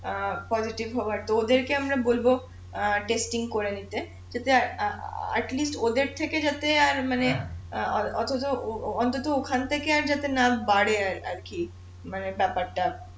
অ্যাঁ হওয়ার তো ওদেরকে আমরা বলবো অ্যাঁ করে নিতে যাতে অ্যাঁ ওদের থেকে যাতে আর মানে ওখান থেকে আর যাতে না বাড়ে আর কি মানে ব্যাপারটা